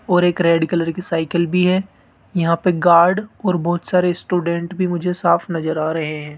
और एक red colour की साइकिल भी है यहां पे गार्ड और बहुत सारे स्टूडेंट भी मुझे साफ नजर आ रहे हैं।